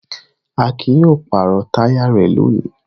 Akin yóò pàrọ̀ táyà rẹ̀ lónìí.